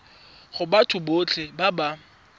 go batho botlhe ba ba